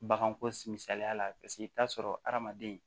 Baganko misaliya la paseke i bi t'a sɔrɔ adamaden